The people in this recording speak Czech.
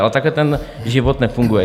Ale takhle ten život nefunguje.